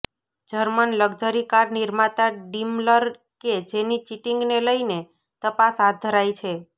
German luxury car નિર્માતા Daimler કે જેની ચીટીંગને લઇને તપાસ હાથ ધરાઇ છે